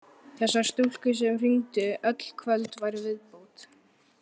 Þessar stúlkur sem hringdu öll kvöld væru viðbót.